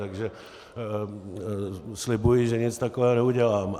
Takže slibuji, že nic takového neudělám.